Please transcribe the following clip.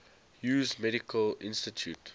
hughes medical institute